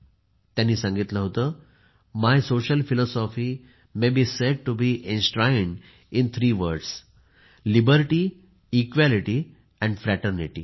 त्यांनी सांगितले होते my social philosophy may be said to be enshrined in three words liberty equality and fraternity